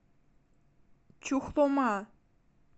чухлома